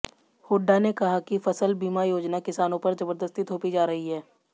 हुड्डा ने कहा कि फसल बीमा योजना किसानों पर जबरदस्ती थोपी जा रही है